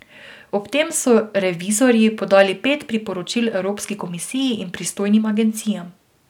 Ob tem so revizorji podali pet priporočil Evropski komisiji in pristojnim agencijam.